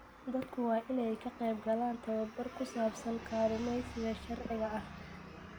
Dadku waa inay ka qaybgalaan tababar ku saabsan kalluumaysiga sharciga ah.